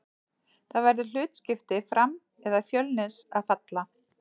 Það verður hlutskipti Fram eða Fjölnis að falla.